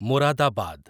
Moradabad